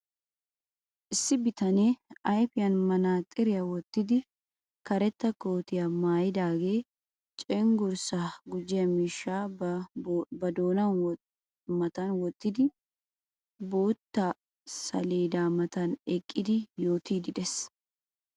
Issi bitanee ayfiyan manaxiriya wottidi karetta kootiya maayidaagee cenggurssaa gujjiyo miishshaa ba doonaa matan wottidi bootta saleeda matan eqqidi yootiiddi beettees.